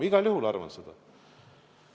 Igal juhul arvan seda.